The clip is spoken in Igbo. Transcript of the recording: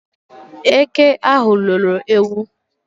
Eke ahụ loro ewu